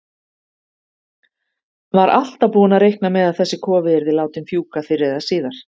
Var alltaf búinn að reikna með að þessi kofi yrði látinn fjúka fyrr eða síðar.